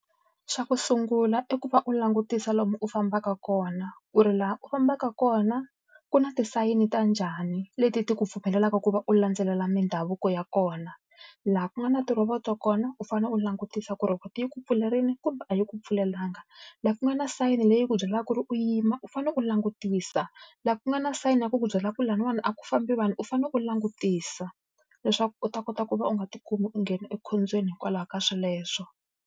Xa ku sungula i ku va u langutisa lomu u fambaka kona, ku ri laha u fambaka kona ku na tisayini ta njhani leti ti ku pfumelelaka ku va u landzelela mindhavuko ya kona. Laha ku nga na tirhovoto kona u fanele u langutisa ku ri rhovoto yi ku pfulerile kumbe a yi ku pfulelanga. Laha ku nga na sayini leyi ku byalaka ku ri u yima, u fanele ku langutisa. Laha ku nga na sayini ya ku ku byala ku lahawani a ku fambi vanhu, u fanele ku langutisa, leswaku u ta kota ku va u nga tikumi u nghena ekhombyeni hikwalaho ka sweleswo.